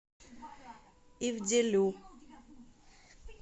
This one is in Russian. ивделю